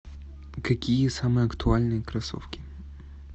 какие самые актуальные кроссовки